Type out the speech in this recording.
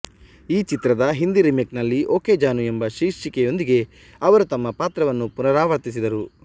ಈ ಚಿತ್ರದ ಹಿಂದಿ ರಿಮೇಕ್ನಲ್ಲಿ ಓಕೆ ಜಾನು ಎಂಬ ಶೀರ್ಷಿಕೆಯೊಂದಿಗೆ ಅವರು ತಮ್ಮ ಪಾತ್ರವನ್ನು ಪುನರಾವರ್ತಿಸಿದರು